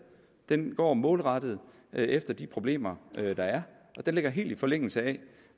den går målrettet efter de problemer der er og den ligger helt i forlængelse af